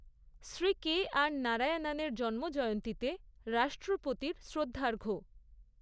Shri K R নারায়নণের জন্মজয়ন্তীতে রাষ্ট্রপতির শ্রদ্ধার্ঘ্য